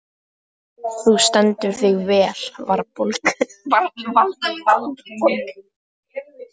Þú stendur þig vel, Valborg!